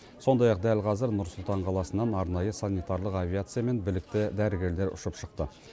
сондай ақ дәл қазір нұр сұлтан қаласынан арнайы санитарлық авиациямен білікті дәрігерлер ұшып шықты